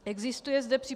Existuje zde při